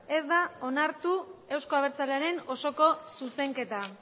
ez da onartu euzko abertzalearen osoko zuzenketa